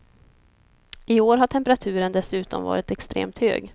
I år har temperaturen dessutom varit extremt hög.